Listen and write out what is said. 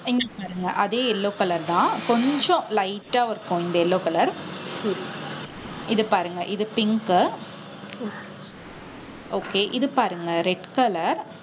இங்க பாருங்க அதே yellow color தான். கொஞ்சம் light ஆ இருக்கும் இந்த yellow color இது பாருங்க இது pink okay இது பாருங்க red color